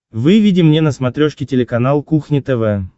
выведи мне на смотрешке телеканал кухня тв